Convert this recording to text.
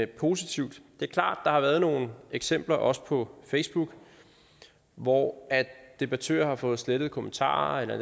positivt det er klart at der har været nogle eksempler også på facebook hvor debattører har fået slettet kommentarer eller